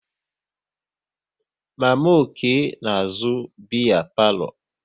Mama Okey na-azụ biya palo